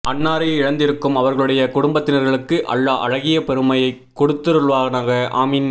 அன்னாரை இழந்திருக்கும் அவர்களுடைய குடும்பத்தினர்களுக்கு அல்லாஹ் அழகிய பொருமையை கொடுத்தருள்வானாக ஆமீன்